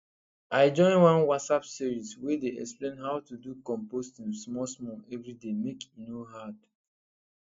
i join one whatsapp series wey dey explain how to do composting smallsmall every day make e no hard